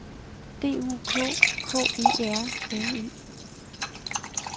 D U K K E R N E